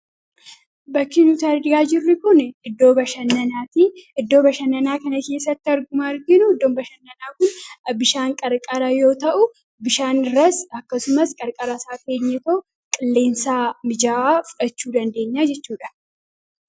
Bakki nuti argaa jirru kun iddoo bashannanaati. Iddoo bashannanaa kana keessatti akkuma arginu iddoon bashannanaa kun bishaan qarqara yoo ta'u bishaan irras akkasumas qarqara isaa teenyee qilleensa mijaawaa fudhachuu dandeenya jechuudha.